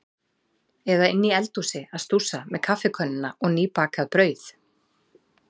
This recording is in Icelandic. Eða inni í eldhúsi að stússa með kaffikönnuna og nýbakað brauð.